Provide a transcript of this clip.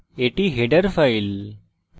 এটি header file